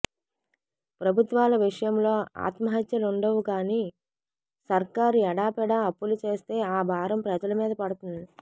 ప్రభుత్వాల విషయంలో ఆత్మహత్యలుండవుగాని సర్కారు ఎడాపెడా అప్పులు చేస్తే ఆ భారం ప్రజల మీద పడుతుంది